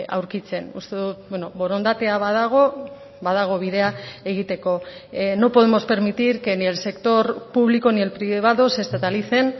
aurkitzen uste dut borondatea badago badago bidea egiteko no podemos permitir que ni el sector público ni el privado se estatalicen